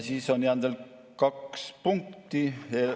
On jäänud veel kaks punkti.